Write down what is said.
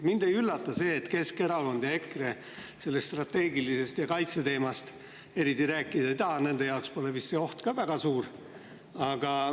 Mind ei üllata see, et Keskerakond ja EKRE sellest strateegilisest ja kaitseteemast eriti rääkida ei taha, nende jaoks pole vist see oht ka väga suur.